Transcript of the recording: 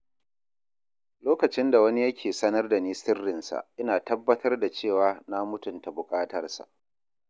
Lokacin da wani yake sanar da ni sirrinsa, ina tabbatar da cewa na mutunta buƙatarsa.